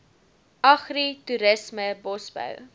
agri toerisme bosbou